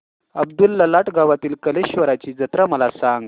अब्दुललाट गावातील कलेश्वराची जत्रा मला सांग